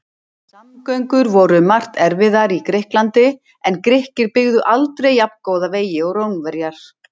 Samgöngur voru um margt erfiðar í Grikklandi en Grikkir byggðu aldrei jafngóða vegi og Rómverjar.